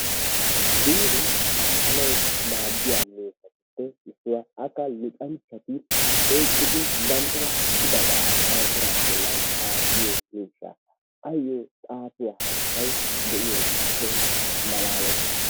Biiree xaafanawu maaddiyaa miishshatuppe issuwaa. akka yettenchchati oyqqidi banttana kooshshidabaa dawutaraa bollaan xaafiyoo miishsha. ayyoo xaafiyoo hayttay diyoogeekeehippe malaalees.